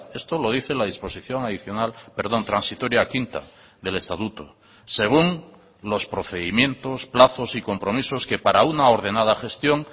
esto lo dice la disposición adicional perdón transitoria quinta del estatuto según los procedimientos plazos y compromisos que para una ordenada gestión